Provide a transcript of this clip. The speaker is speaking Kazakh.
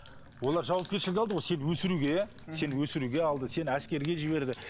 олар жауапкершілік алды ғой сені өсіруге иә сені өсіруге алды сен әскерге жіберді